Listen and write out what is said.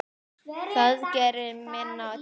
Það gerir minna til.